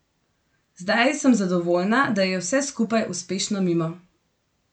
Zdaj sem zadovoljna, da je vse skupaj uspešno mimo.